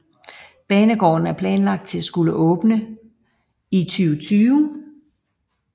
Banegården er planlagt at skulle åbne i 2020